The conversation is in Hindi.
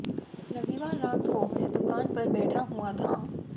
रविवार रात को वह दुकान पर बैठा हुआ था